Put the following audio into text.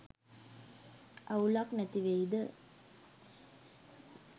අවුලක් නැතිවෙයිද?